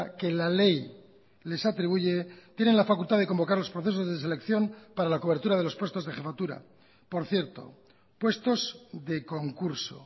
que la ley les atribuye tienen la facultad de convocar losprocesos de selección para la cobertura de los puestos de jefatura por cierto puestos de concurso